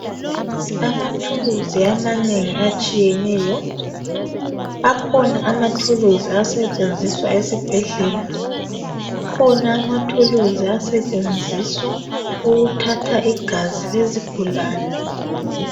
Amathuluzi amanengi atshiyeneyo akhona amathuluzi asetshenziswa esibhedlela akhona amathuluzi asetshenziswa ukuthatha igazi lezigulane